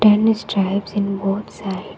Many stairs in both side.